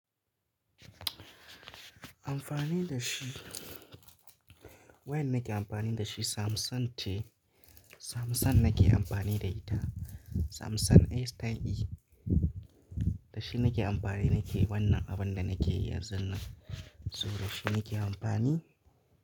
Amfani da shi, wayan nake amfani da shi Samsung ce. Samsung nake amfani da ita. Samsung A style E. Da shi nake amfani nake wannan abun da nake yi yanzun nan. So da shi nake amfani.